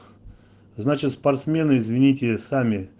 значит спортсмены извините